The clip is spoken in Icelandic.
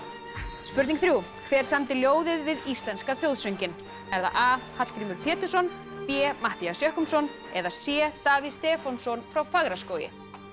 spurning þrjú hver samdi ljóðið við íslenska þjóðsönginn er það a Hallgrímur Pétursson b Matthías Jochumsson eða c Davíð Stefánsson frá Fagraskógi